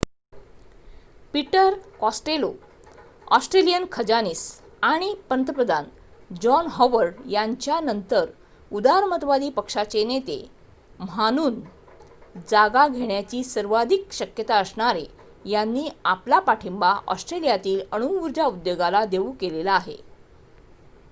Peter Costello Australian खजानीस आणि पंतप्रधान जॉन हॉवर्ड यांच्या नंतर उदारमतवादी पक्षाचे नेते mhanun जागा घेण्याची सर्वाधिक शक्यता असणारे यांनी आपला पाठींबा ऑस्ट्रेलियातील अणुउर्जा उद्योगाला देऊ केलेला आहे